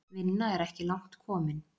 Vinna er ekki langt komin.